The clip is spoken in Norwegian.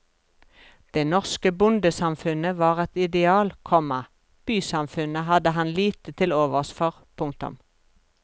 Det norske bondesamfunnet var et ideal, komma bysamfunnet hadde han lite til overs for. punktum